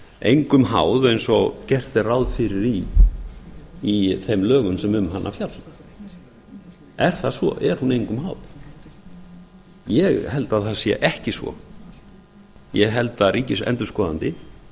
engum háð eins og gert er ráð fyrir í þeim lögum sem um hana fjalla er það svo er hún engum háð ég held að það sé ekki svo ég held að ríkisendurskoðandi